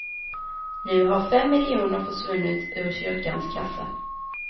Nu har fem miljoner försvunnit ur kyrkans kassa.